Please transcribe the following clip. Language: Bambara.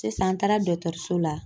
Sisan an taara dɔgɔtɔrɔso la.